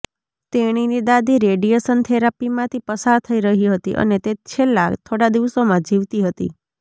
તેણીની દાદી રેડિયેશન થેરાપીમાંથી પસાર થઈ રહી હતી અને તે છેલ્લા થોડા દિવસોમાં જીવતી હતી